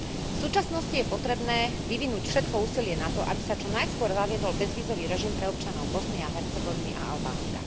V súčasnosti je potrebné vyvinúť všetko úsilie na to, aby sa čo najskôr zaviedol bezvízový režim pre občanov Bosny a Hercegoviny a Albánska.